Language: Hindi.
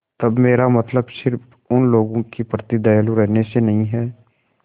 तब मेरा मतलब सिर्फ़ उन लोगों के प्रति दयालु रहने से नहीं है